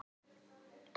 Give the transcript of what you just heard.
Heyrðu, bíddu nú.